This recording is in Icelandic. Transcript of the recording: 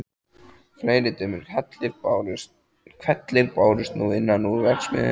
Fleiri dimmir hvellir bárust nú innan úr verksmiðju